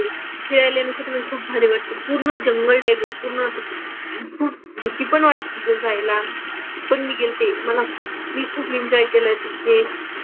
फिरायला तिथं खूप भारी वाटतं. पूर्ण जंगल टाईप आहे पूर्ण पूर भीती पण वाटते तिथे जायला. पण मी गेल्ते. मला खूप मी खूप एन्जॉय केलंय तिथे.